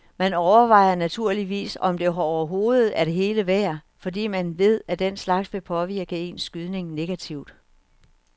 Man overvejer naturligvis om det overhovedet er det hele værd, fordi man ved at den slags vil påvirke ens skydning negativt.